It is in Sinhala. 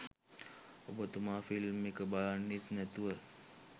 ඔබතුමා ෆිල්ම් එක බලන්නෙත් නැතුව